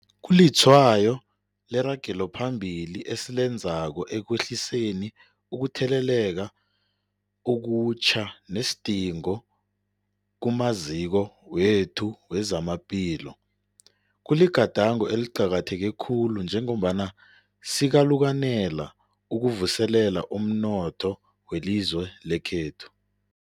Kulitshwayo leragelo phambili esilenzako ekwehliseni ukutheleleka okutjha nesidingo kumaziko wethu wezamaphilo. Kuligadango eliqakatheke khulu njengombana sikalukanela ukuvuselela umnotho welizwe lekhethu.